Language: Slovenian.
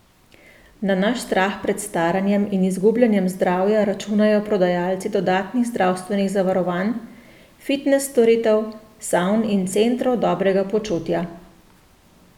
Na naš strah pred staranjem in izgubljanjem zdravja računajo prodajalci dodatnih zdravstvenih zavarovanj, fitnes storitev, savn in centrov dobrega počutja.